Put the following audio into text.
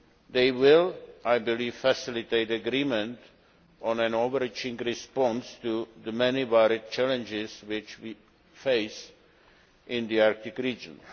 They will, I believe, facilitate agreement on an overarching response to the many varied challenges which we face in the Arctic region.